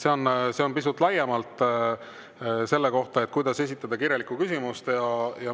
See on pisut laiemalt selle kohta, kuidas esitada kirjalikku küsimust.